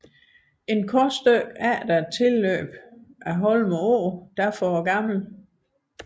Et kort stykke efter tilløbet af Holme Å får Gl